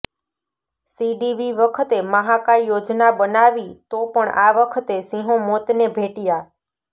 સીડીવી વખતે મહાકાય યોજના બનાવી તો પણ આ વખતે સિંહો મોતને ભેટયા